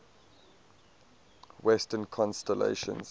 western constellations